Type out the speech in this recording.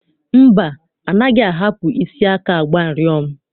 Mba, anaghị ahapụ isi aka agba ụrịọm.